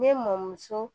Ne mɔmuso